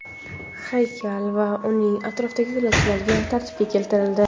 Haykal va uning atrofidagi yo‘lakchalar tartibga keltirildi.